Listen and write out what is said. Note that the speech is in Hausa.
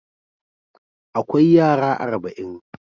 Akwai yara arba'in.